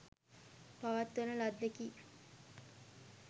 පවත්වන ලද්දකි.